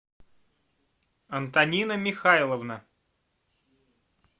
антонина михайловна